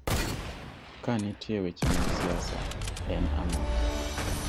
Ka nitie weche mag siasa, en ang'o?